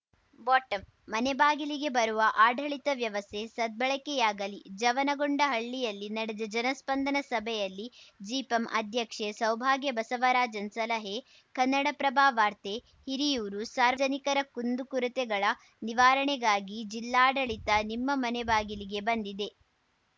bottom ಮನೆ ಬಾಗಿಲಿಗೆ ಬರುವ ಆಡಳಿತ ವ್ಯವಸ್ಥೆ ಸದ್ಬಳಕೆಯಾಗಲಿ ಜವನಗೊಂಡನಹಳ್ಳಿಯಲ್ಲಿ ನಡೆದ ಜನಸ್ಪಂದನ ಸಭೆಯಲ್ಲಿ ಜಿಪಂ ಅಧ್ಯಕ್ಷೆ ಸೌಭಾಗ್ಯ ಬಸವರಾಜನ್‌ ಸಲಹೆ ಕನ್ನಡಪ್ರಭ ವಾರ್ತೆ ಹಿರಿಯೂರು ಸಾರ್ವಜನಿಕರ ಕುಂದುಕೊರತೆಗಳ ನಿವಾರಣೆಗಾಗಿ ಜಿಲ್ಲಾಡಳಿತ ನಿಮ್ಮ ಮನೆ ಬಾಗಿಲಿಗೆ ಬಂದಿದೆ